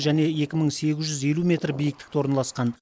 және екі мың сегіз жүз елу метр биіктікте орналасқан